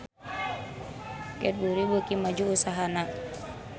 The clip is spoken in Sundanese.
Cadbury beuki maju usahana